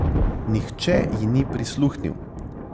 Nihče ji ni prisluhnil.